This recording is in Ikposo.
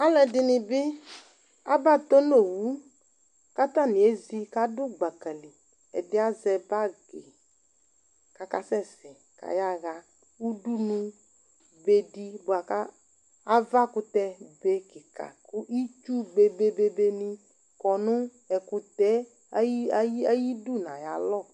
Alʋ ɛdini bi aba tɔ n'owu, k'atani edzi k'adʋ gbaka li Ɛdi azɛ bag k'aka sɛsɛ k'ayaha udunu be di bua k'avakʋtɛ be kika kʋ itsu bebebeni kɔ nʋ ɛkʋtɛ ayi ayidu n'ayalɔ